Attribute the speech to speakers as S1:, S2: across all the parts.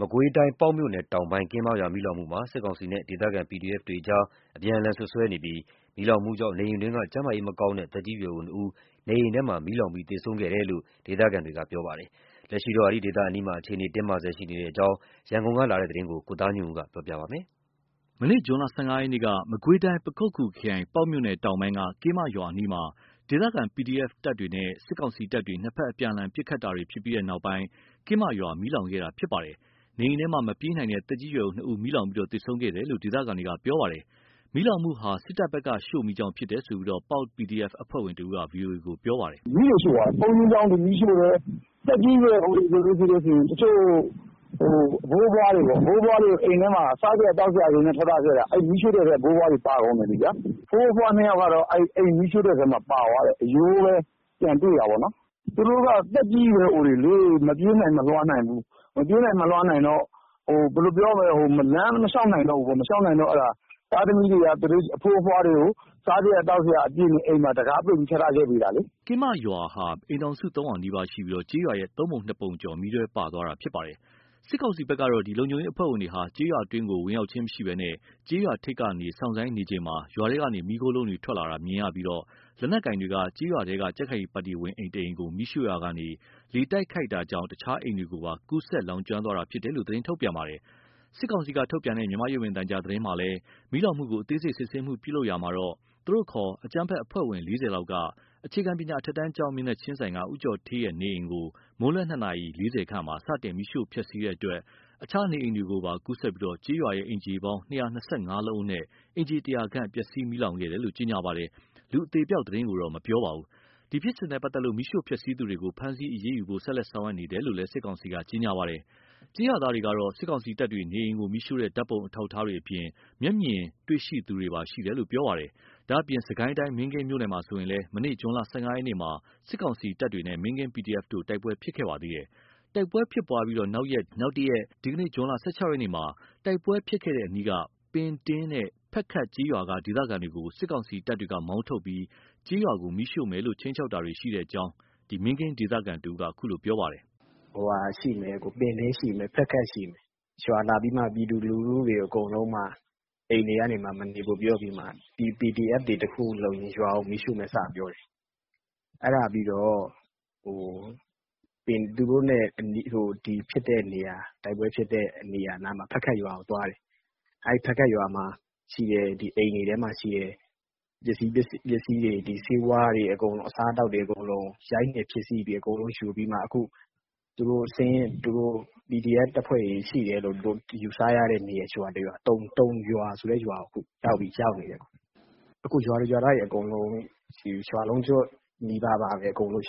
S1: မကွေးတိုင်း ပေါက်မြို့နယ်တောင်ပိုင်း ကင်းမရွာမီးလောင်မှုမှာ စစ်ကောင်စီနဲ့ ဒေသခံ PDF တွေဖက် အပြန်အလှန်စွပ်စွဲနေပြီး၊ မီးလောင်မှုကြောင့် နေအိမ်အတွင်း ကျန်းမာရေးမကောင်းတဲ့ သက်ကြီးရွယ်အို ၂ ဦး နေအိမ်ထဲမှာ မီးလောင်ပြီးသေဆုံးခဲ့တယ်လို့ ဒေသခံတွေက ပြောပါတယ်။ လက်ရှိအားဖြင့်တော့ အဲဒီဒေသအနီးမှာ အခြေအနေတွေ တင်းမာဆဲရှိနေတဲ့အကြောင်း ရန်ကုန်က သတင်းပေးပို့တာကို ကိုသားညွန့်ဦး ပြောပြပါမယ်။ မနေ့ ဇွန် ၁၅ ရက်က မကွေးတိုင်း ပခုက္ကူခရိုင် ပေါက်မြို့နယ် တောင်ပိုင်း ကင်းမရွာအနီးမှာ ဒေသခံ PDF တွေနဲ့ စစ်ကောင်စီတပ်တွေ ၂ ဖက်အပြန်အလှန် ပစ်ခတ်တာတွေဖြစ်ပြီးနောက်ပိုင်း ကင်းမရွာ မီးလောင်ခဲ့တာဖြစ်ပါတယ်။ နေအိမ်ထဲမှာ မပြေးနိုင်တဲ့ သက်ကြီး ရွယ်အို ၂ ဦး မီးလောင်ပြီး သေဆုံးခဲ့တယ်လို့ ဒေသခံတွေက ပြောပါတယ်။ မီးလောင်မှုမှာ စစ်တပ်ဖက်က ရှို့မီးကြောင့်ဖြစ်တယ်လို့ ပေါက် PDF အဖွဲ့ဝင်တဦးက VOA ကို ပြောပါတယ်။
S2: “ဘုန်းကြီးကျောင်းတွေကို မီးရှို့တယ်။ သက်ကြီးရွယ်အိုတွေဆိုရင် အဖိုးအဖွားတွေ အိမ်ထဲမှာ စားစရာ သောက်စရာ ထားထားခဲ့တာ အဲ့မီးရှို့တဲ့ထဲ ဖိုးဖွားတွေပါကုန်တယ်။ ဖိုးဖွား၂ ယောက်ကတော့ အိမ်မီးရှို့တဲ့ထဲပါသွားတယ်။ အရိုးပဲပြန်တွေ့တာပေါ့။ သူတို့က သက်ကြီးရွယ်အိုတွေလေ မပြေးနိုင်မလွှားနိုင်ဘူး။ မပြေးနိုင်မလွှားနိုင်တော့ လမ်းမလျှောက်နိုင်ဘူးပေါ့။ လမ်းမလျှောက်နိုင်တော့ သားသမီးတွေက အဖိုးအဖွားတွေကို စားစရာ သောက်စရာ အပြည့်နဲ့ အိမ်မှာ တံခါးပိတ်ပြီး ထားထားခဲ့ပေးတာလေ။” ကင်းမရွာ
S1: ရဲ့ဟာ အိမ်ထောင်စု ၃၀၀ နီးပါးရှိပြီး ကျေးရွာရဲ့ ၃ ပုံ ၂ ပုံကျော်ဟာ မီးထဲပါသွားတာဖြစ်ပါတယ်။ စစ်ကောင်စီဘက်ကတော့ လုံခြုံရေးအဖွဲ့ဝင်တွေဟာ ကျေးရွာအတွင်းကို ဝင်ရောက်ချင်းမရှိဘဲ ကျေးရွာထိပ်က နေစောင့်ဆိုင်းနေချိန်မှာ ရွာထဲကနေ မီးခိုးလုံးတွေ ထွက်လာတာ မြင်ရပြီး လက်နက်ကိုင်တွေက ကျေးရွာထဲက ကြံ့ခိုင်ရေးပါတီဝင်အိမ်ကို မီးရှို့ရာကနေ လေတိုက်ခတ်တာကြောင့် တခြားအိမ်တွေကိုပါ ကူးစက်လောင်ကျွမ်းသွားတာဖြစ်တယ်လို့ သတင်းထုတ်ပြန်ထားပါတယ်။ စစ်ကောင်စီထုတ်ပြန်တဲ့ မြန်မာရုပ်မြင်သံကြားသတင်းမှာလည်း မီးလောင်မှုကိုအသေးစိတ် စစ်ဆေးမှုပြုလုပ်ရာမှာ သူ့အခေါ် အကြမ်းဖက်အဖွဲ့ဝင် ၄၀လောက်က အခြေခံပညာအထက်တန်းကျောင်းမျက်နှာချင်းဆိုင်က ဦးကျော်ဌေးနေအိမ်ကို မွန်းလွဲ ၂နာရီ ၄၀ခန့်မှာ စတင်မီးရှိုှုဖျက်ဆီးတဲ့အတွက် အခြားနေအိမ်တွေကိုပါကူးစက်ပြီး ကျေးရွာအိမ်ခြေပေါင်း ၂၂၅လုံးအနက် အိမ်ခြေ ၁၀၀ခန့် မီးလောင်ပျက်စီးခဲ့တယ်လို့ ကြေညာပါတယ်။ လူအသေအပျောက်သတင်းကိုတော့ မပြောပါဘူး။ ဒီဖြစ်စဉ်နဲ့ပတ်သက်လို့ မီးရှို့ဖျက်ဆီးသူတွေကို ဖမ်းဆီးအရေးယူဖို့ ဆက်လက်ဆောင်ရွက်နေတယ်လို့လည်း စစ်ကောင်စီက ကြေညာပါတယ်။ ကျေးရွာသားတွေကတော့ စစ်ကောင်စီတပ်တွေ နေအိမ်ကို မီးရှို့တဲ့ ဓာတ်ပုံအထောက်အထားတွေအပြင် မျက်မြင်တွေ့ရှိတာတွေပါ ရှိတယ်လို့ ပြောပါတယ်။ ဒါ့အပြင် စစ်ကိုင်းတိုင်း မင်းကင်းမြို့မျာဆိုရင်လည်း မနေ့ ဇွန် ၁၅ ရက်မှာ စစ်ကောင်စီတပ်တွေနဲ့ မင်းကင်း PDF တို့တိုက်ပွဲဖြစ်ပွားခဲ့ပါသေးတယ်။ တိုက်ပွဲဖြစ်ပွားပြီး နောက်ရက် ဒီကနေ့ ဇွန် ၁၆ ရက်နေ့မှာ တိုက်ပွဲဖြစ်ပွားခဲ့တဲ့ အနီးက ပင်တင်းနဲ့ ဖက်ခတ်ကျေးရွာက ဒေသခံတွေကို စစ်ကောင်စီတပ်တွေက မောင်းထုတ်ပြီး ကျေးရွာကို မီးရှို့မယ်လို့ ခြိမ်းခြောက်တာတွေလည်း ရှိတယ်လို့ မင်းကင်း ဒေသခံတဦးက အခုလိုပြောပါတယ်။ “
S3: ပင်တင်းရှိတယ် ဖက်ခက်ရှိတယ်။ ရွာကိုလာပြီး ပြည်သူလူထုတွေ အိမ်တွေမှာ မနေဖို့ပြောပြီး PDF တွေ တခုခု လုပ်ရင် ရွာကို မီးရှို့မယ်စပြောတယ်။ အဲ့ဒါပြီးတော့ သူတို့နဲ့ဖြစ်တဲ့နေရာ တိုက်ပွဲဖြစ်တဲ့နားက ဖက်ခတ်ရွာကို သွားတယ်။ အဲ့ဖက်ခတ်ရွာက အိမ်တွေထဲမှာရှိတဲ့ ပစ္စည်းတွေ ဆေးဝါးတွေ အစားအသောက်တွေ အကုန်လုံးကို ရိုက်နှက်ဖျက်စီးပြီး အကုန်လုံးယူပြီးတော့မှ PDF တပ်ဖွဲ့တွေ ရှိတယ်လို့ ယူဆရတဲ့ ရွာတရွာ တုန်ရွာဆိုတဲ့ရွာကို သူတို့ရောက်နေတယ်။ ရွာသူရွာသားတွေအကုန် ရွာလုံးကျွတ်နီးပါးပဲ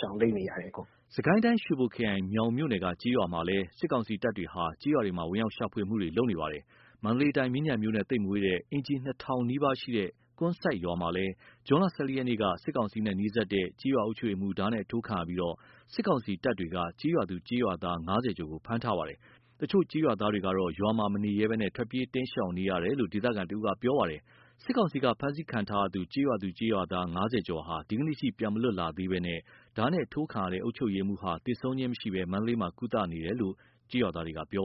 S3: ရှောင်တိမ်းနေရတယ်။
S1: ” စစ်ကိုင်းတိုင်း ရွှေဘိုခရိုင် မြောင်မြို့နယ်က ကျေးရွာမှာလည်း စစ်ကောင်စီတပ်တွေဟာ ကျေးရွာတွေမှာ ဝင်ရောက်ရှာဖွေတာတွေလုပ်နေပါတယ်။ မန္တလေးတိုင်း မြင်းခြံမြို့နဲ့ သိပ်မဝေးဘဲ အိမ်ခြေ ၂၀၀၀ နီးပါးရှိတဲ့ ကွမ်းစိုက်ရွာမှာလည်း ဇွန် ၁၄ ရက်က စစ်ကောင်စီနဲ့နီးစပ်သူ ကျေးရွာအုပ်ချုပ်ရေးမှူး ဓားနဲ့အထိုးခံရပြီး စစ်ကောင်စီတပ်တွေက ကျေးရွာသူ ကျေးရွာသား ၅၀ ကျော်ကို ဖမ်းဆီးထားပါတယ်။ တချို့ကျေးရွာသားတွေကတော့ ရွာမှာမနေရဲဘဲ ထွက်ပြေးတိမ်းရှောင်နေရတယ်လို့ ဒေသခံ တဦးကပြောပါတယ်။ စစ်ကောင်စီက ဖမ်းဆီးခံရသူ ကျေးရွာသူကျေးရွာသား ၅၀ ကျော်ဟာ ဒီကနေ့ထိ ပြန်မလွတ်လာသေးဘဲ ဓားနဲ့ထိုးခံရတဲ့ အုပ်ချုပ်ရေးမှူးဟာ သေဆုံးခြင်းမရှိဘဲ မန္တလေးမှာ ကုသနေတယ်လို့ ရွာသားတွေက ပြောပါ